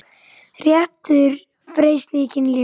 Réttur til frelsis í kynlífi